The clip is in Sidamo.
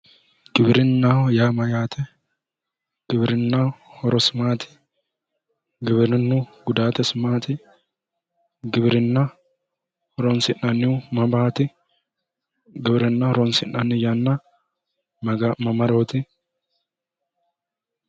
Giwirinnaho yaa mayyaate? giwirinnaho horosi maati? giwirinnu gudaatesi maati? giwirinna horoonsi'nannihu mamaati? gwirinna horonsi'nanni yana mamarooti